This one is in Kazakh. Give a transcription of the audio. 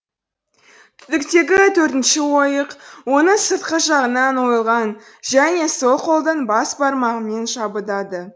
түтіктегі төртінші ойық оның сыртқы жағынан ойылған және сол қолдың бас бармағымен жабыдады